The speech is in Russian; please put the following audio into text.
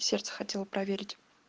сердце хотела проверить